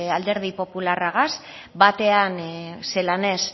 alderdi popularragaz batean zelan ez